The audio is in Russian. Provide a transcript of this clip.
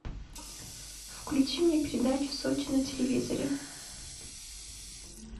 включи мне передачу сочи на телевизоре